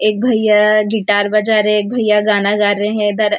एक भैया गिटार बजा रहे एक भैया गाना गा रहे है इधर।